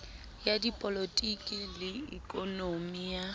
ya dipolotiki le ikonomi ya